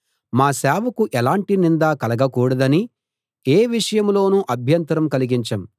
మా సేవకు ఎలాంటి నింద కలగకూడదని ఏ విషయంలోనూ అభ్యంతరం కలిగించం